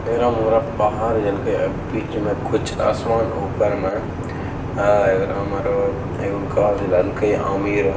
एरा मोरा पहाड़ बीच में कुछ आसमान ऊपर में ---